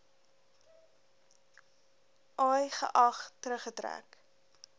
i geag teruggetrek